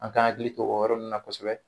An k'an hakili to o yɔrɔ nunnu na kosɛbɛ.